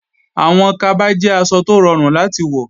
Àwọn kaba jẹ́ aṣọ tó rọrùn láti wọ